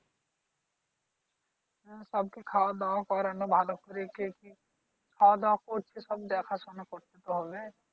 হ্যাঁ সবাইকে খাওয়া-দাওয়া করানো। ভালো করে কে কি খাওয়া-দাওয়া করছে সব দেখা-শুনা করতে হবে।